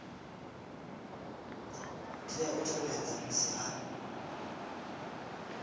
tea u tevhedza musi a